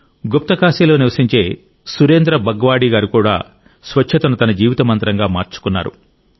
గుప్తకాశీలో నివసించే సురేంద్ర బగ్వాడీ గారు స్వచ్చతను తన జీవిత మంత్రంగా మార్చుకున్నారు